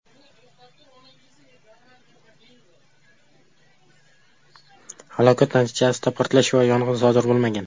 Halokat natijasida portlash va yong‘in sodir bo‘lmagan.